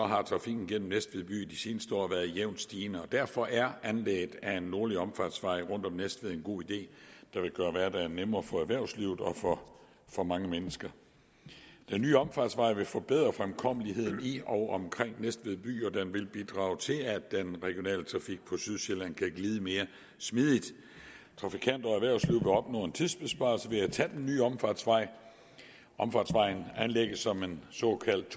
har trafikken gennem næstved by de seneste år været jævnt stigende derfor er anlægget af en nordlig omfartsvej rundt om næstved en god idé der vil gøre hverdagen nemmere for erhvervslivet og for for mange mennesker den nye omfartsvej vil forbedre fremkommeligheden i og omkring næstved by og den vil bidrage til at den regionale trafik på sydsjælland kan glide mere smidigt trafikanter og erhvervsliv vil opnå en tidsbesparelse ved at tage den nye omfartsvej omfartsvejen anlægges som en såkaldt